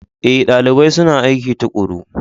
Ee, dalibai suna aiki tuƙuru.